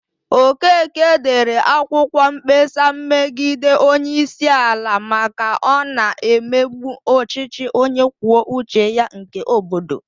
Okeke dere akwụkwọ mkpesa megide onyeisiala Naijiria maka na ọ na-emegbu ọchịchị onye kwuo uche ya nke obodo.